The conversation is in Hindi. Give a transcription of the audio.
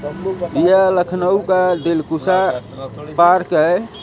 यह लखनऊ का दिलकुशा पार्क है।